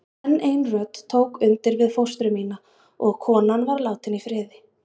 Enn ein rödd tók undir við fóstru mína og konan var látin í friði.